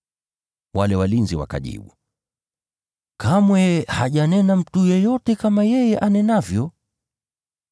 Wale walinzi wakajibu, “Kamwe hajanena mtu yeyote kama yeye anenavyo.”